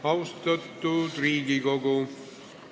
Austatud Riigikogu!